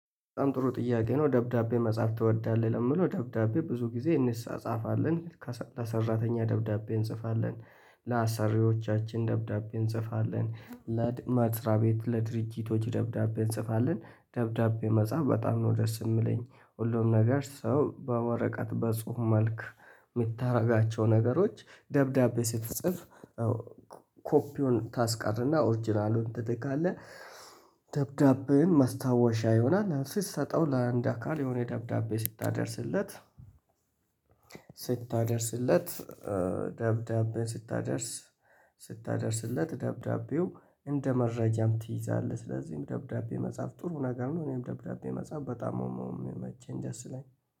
በጣም ጥሩ ጥያቄ ነው ደብዳቤ መጻፍ ትወዳለህ ለምለው ደብዳቤ ብዙ ጊዜ እንጻፈፈለን። ሰራተኛ ደብዳቤ እንጽፋለን ለአሳሪዎቻችን ደብዳቤ እንጽፋለን ለመስሪያ ቤት ለድርጅቶች ደብዳቤ እንጽፋለን። ደብዳቤ መጻፍ በጣም ነው። ደስ የምለኝ ሁሉም ነገር ሰው በወረቀት በጽሁፍ መልክ የምታደርጋቸው ነገሮች ደብዳቤ ስትጽፍ። ኮፒውን ታስቀርና ኦርጅናሉን ትልካለ። ደብዳቤን ማስታወሻ ይሆናል ስሰጠው ለአንድ አካል የሆነ ደብዳቤ ስታደርስለት። ስታደርስለት ደብዳቤ ስታደርስ ስታደርስለት ደብዳቤው እንደ መረጃም ትይዛለህ። ስለዚህም ደብዳቤ መጻፍ ጥሩ ነገር ነው። እኔም ደብዳቤ መጻፍ በጣም ምመቼኝ ደስ ላይ